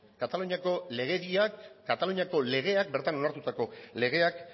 kataluniako legediak kataluniako legeak bertan onartutako legeak